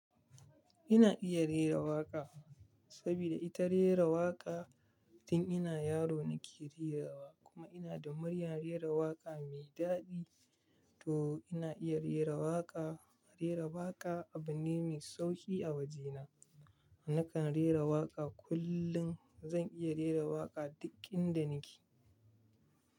Ina iya rera waƙa saboda ita rera waƙa tin ina yaro nake rera waƙa kuma ina da muryar rera waƙa mai daɗi to ina iya rera waƙa. Rera waƙa abu ne mai sauƙi a waje na. Nakan rera waƙa kullum. Zan iya rera waƙa duk inda nake.